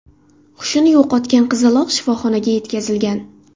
Hushini yo‘qotgan qizaloq shifoxonaga yetkazilgan.